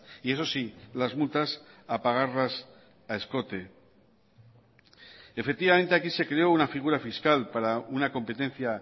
y eso sí las multas a pagarlas a escote efectivamente aquí se creó una figura fiscal para una competencia